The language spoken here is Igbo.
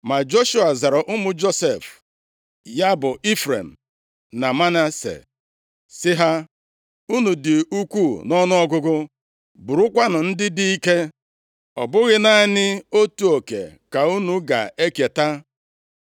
Ma Joshua zara ụmụ Josef, ya bụ, Ifrem na Manase, sị ha, “Unu dị ukwuu nʼọnụọgụgụ, bụrụkwa ndị dị ike, ọ bụghị naanị otu oke ka unu ga-eketa,